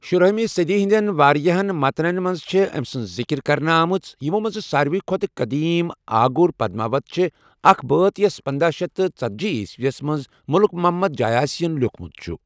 شُراہِمہِ صٔدی ہِنٛدیٚن واریاہن مَتنن منٛز چھےٚ أمہِ سٕنٛز ذِکِر كرنہٕ آمٕژ، یِمو منٛزٕ سارِوٕے کھۄتہٕ قٔدیٖم آگُر پدماوت چھٖ ،اكھ بٲتھ یٗس پنداہ شیٚتھ تہٕ ژتجی عیٖسوی یس منز مٔلِک محمد جایاسی ین لِیوُكھمُت چھٖ ۔